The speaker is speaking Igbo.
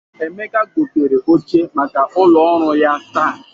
Emeka gotere oche maka ụlọ ọrụ ya taa.